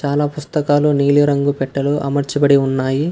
చాలా పుస్తకాలు నీలిరంగు పెట్టెలో అమర్చబడి ఉన్నాయి.